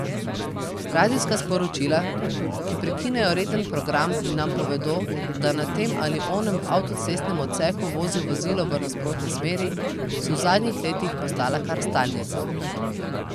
Radijska sporočila, ki prekinejo reden program in nam povedo, da na tem ali onem avtocestnem odseku vozi vozilo v nasprotni smeri, so v zadnjih letih postala kar stalnica.